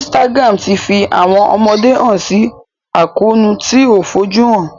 Instagram tí fi àwọn ọmọdé hàn si àkóónú tí o fojuhan.